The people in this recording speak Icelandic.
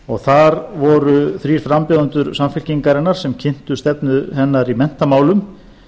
og þar voru þrír frambjóðendur samfylkingarinnar sem kynntu stefnu hennar í menntamálum